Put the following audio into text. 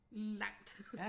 Langt